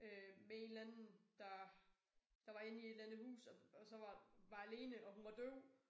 Øh med en eller anden der der var inde i et eller andet hus og og så var var alene og hun var døv